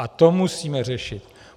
A to musíme řešit.